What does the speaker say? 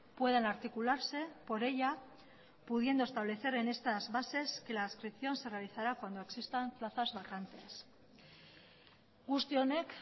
puedan articularse por ella pudiendo establecer en estas bases que la adscripción se realizará cuando existan plazas vacantes guzti honek